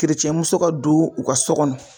muso ka don u ka so kɔnɔ